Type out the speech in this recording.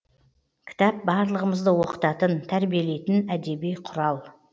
кітап барлығымызды оқытатын тәрбиелейтін әдеби құрал